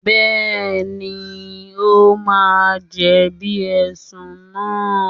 Bẹ́ẹ̀ni, ó máa jẹ̀bi Ẹ̀sùn náà